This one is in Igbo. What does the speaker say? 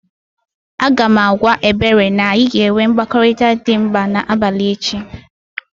Aga m agwa Ebere na anyị ga-enwe mkparịtaụka dị mkpa n'abalị echi